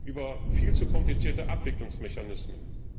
über viel zu komplizierte Abwicklungsmechanismen.